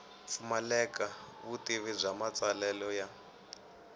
pfumaleka vutivi bya matsalelo ya